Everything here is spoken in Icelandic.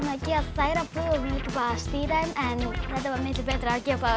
færa brúður og stýra þeim en þetta var miklu betra að gera